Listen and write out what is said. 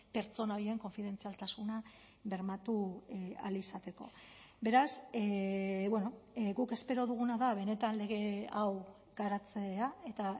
pertsona horien konfidentzialtasuna bermatu ahal izateko beraz guk espero duguna da benetan lege hau garatzea eta